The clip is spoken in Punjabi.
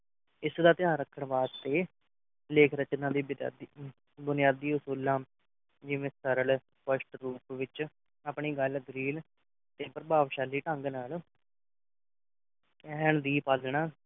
ਇਸ ਦਾ ਧਿਆਨ ਰੱਖਣ ਵਾਸਤੇ ਲੇਖ ਰਚਨਾ ਦੀ ਬੇਚਾਦੀ ਅਹ ਬੁਨਿਆਦੀ ਅਸੂਲਾਂ ਜਿਵੇਂ ਸਰਲ ਸਪਸ਼ਟ ਰੂਪ ਵਿੱਚ ਆਪਣੀ ਗੱਲ ਸਰੀਨ ਤੇ ਪ੍ਰਭਾਵਸ਼ਾਲੀ ਢੰਗ ਨਾਲ ਕਹਿਣ ਦੀ ਪਾਲਣਾ